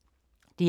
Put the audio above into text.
DR K